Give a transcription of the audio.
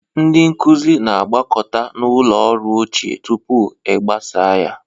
Ndị nkuzi na-agbakọta na ụlọ ọrụ ochie tupu e gbasaa ya.